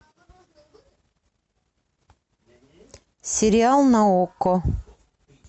сериал на окко